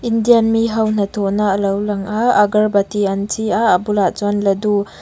indian miho hnathawhna a lo lang a agar bati an chhi a a bulah chuan laddu --